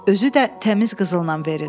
Özü də təmiz qızılla verin.”